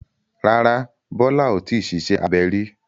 Rárá, Bólá ò tíì ṣiṣẹ́ abẹ rí.